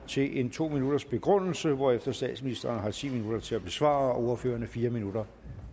til en to minutters begrundelse hvorefter statsministeren har ti minutter til at besvare og ordførererne har fire minutter